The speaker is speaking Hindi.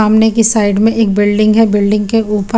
सामने की साइड में एक बिल्डिंग है बिल्डिंग के उपर --